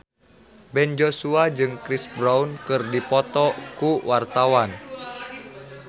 Ben Joshua jeung Chris Brown keur dipoto ku wartawan